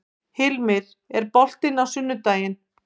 Hilmir, er bolti á sunnudaginn?